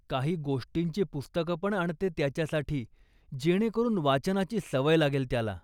काही गोष्टींची पुस्तकं पण आणते त्याच्यासाठी, जेणेकरून वाचनाची सवय लागेल त्याला.